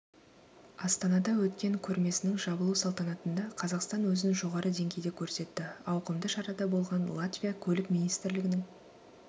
астанада өткен көрмесінің жабылу салтанатында қазақстан өзін жоғары деңгейде көрсетті ауқымды шарада болған латвия көлік министрлігінің